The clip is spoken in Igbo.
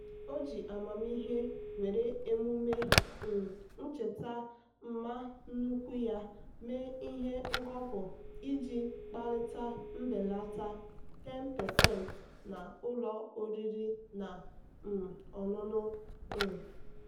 o ji amamihe were emume um ncheta mma nnukwu ya mee ihe ngọpụ iji kparịta mbelata 10% na ụlọ oriri na um ọṅụṅụ. um